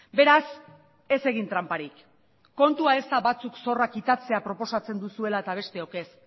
beraz ez egin tranparik kontua ez da batzuk zorra kitatzea proposatzen duzuela eta besteok ez